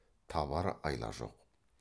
табар айла жоқ